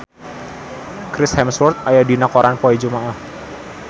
Chris Hemsworth aya dina koran poe Jumaah